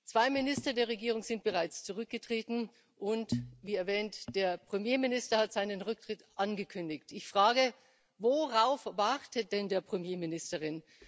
Zwei Minister der Regierung sind bereits zurückgetreten und wie erwähnt der Premierminister hat seinen Rücktritt angekündigt. Ich frage Worauf wartet denn der Premierminister?